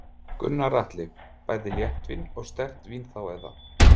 Gunnar Atli: Bæði léttvín og sterkt vín þá eða?